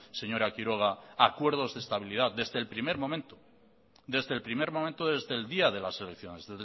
señora quiroga acuerdos de estabilidad desde el primer momento desde el día de las elecciones